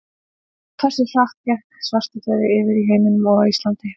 Hversu hratt gekk svartidauði yfir í heiminum og á Íslandi?